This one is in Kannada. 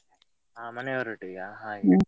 ಹಾ ಮನೆಯವ್ರ ಒಟ್ಟಿಗೆವ ಹಾಗೆ.